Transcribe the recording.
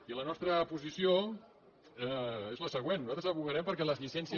i la nostra posició és la següent nosaltres advocarem perquè les llicències